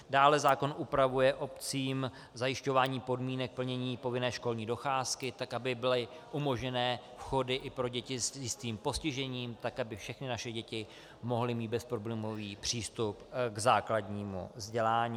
Dále zákon upravuje obcím zajišťování podmínek plnění povinné školní docházky, tak aby byly umožněné vchody i pro děti s jistým postižením, tak aby všechny naše děti mohly mít bezproblémový přístup k základnímu vzdělání.